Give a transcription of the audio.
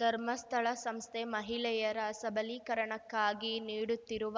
ಧರ್ಮಸ್ಥಳ ಸಂಸ್ಥೆ ಮಹಿಳೆಯರ ಸಬಲೀಕರಣಕ್ಕಾಗಿ ನೀಡುತ್ತಿರುವ